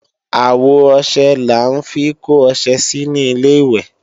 Àwo ọṣẹ là ń fi kó ọṣẹ sí ní Ilé-ìwẹ̀